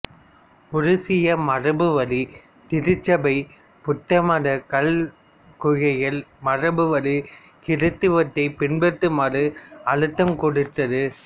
உருசிய மரபுவழி திருச்சபை புத்தமத கல்மிக்குகளை மரபுவழி கிறித்தவத்தை பின்பற்றுமாறு அழுத்தம் கொடுத்தது